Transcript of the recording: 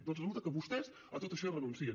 doncs resulta que vostès a tot això hi renuncien